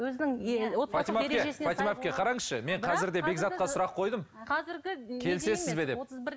фатима әпке фатима әпке қараңызшы мен қазір де бекзатқа сұрақ қойдым келісесіз бе деп